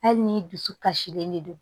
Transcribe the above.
Hali ni dusu kasilen de don